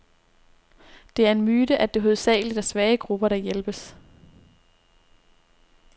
Det er en myte, at det hovedsageligt er svage grupper, der hjælpes.